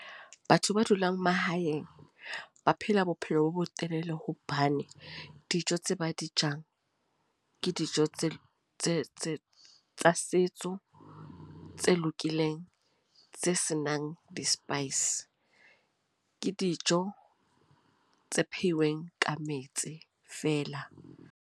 Batho ba dulang mahaeng. Ba phela bophelo bo bo telele hobane, dijo tse ba di jang. Ke dijo tse tsa setso, tse lokileng tse senang di-spice. Ke dijo tse pheuweng ka metsi fela.